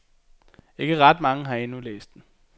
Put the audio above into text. Ikke ret mange har endnu læst den.